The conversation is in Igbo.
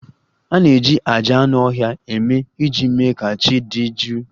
A na-eji àjà anụ ọhịa eme ihe iji mee ka chi dị jụụ